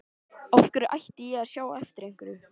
Af hverju ætti ég að sjá eftir einhverju?